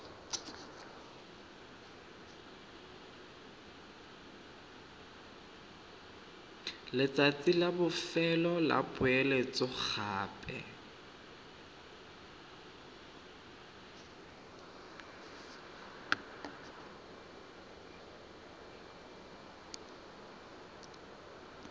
letsatsi la bofelo la poeletsogape